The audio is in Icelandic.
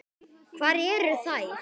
Hvar eru þær?